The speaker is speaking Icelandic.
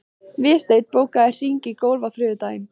Vésteinn, bókaðu hring í golf á þriðjudaginn.